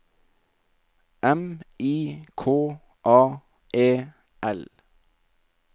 M I K A E L